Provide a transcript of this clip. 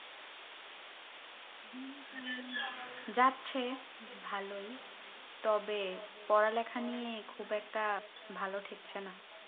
যাচ্ছে ভালোই তবে পড়া লেখা নিয়ে খুব একটা ভালো ঠেকছে না